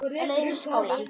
Á leið í skóla.